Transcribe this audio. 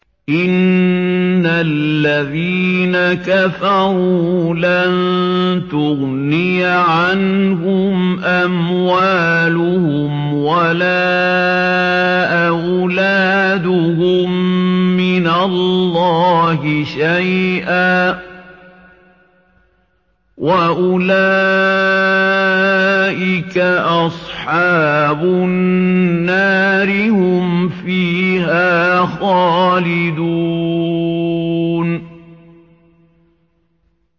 إِنَّ الَّذِينَ كَفَرُوا لَن تُغْنِيَ عَنْهُمْ أَمْوَالُهُمْ وَلَا أَوْلَادُهُم مِّنَ اللَّهِ شَيْئًا ۖ وَأُولَٰئِكَ أَصْحَابُ النَّارِ ۚ هُمْ فِيهَا خَالِدُونَ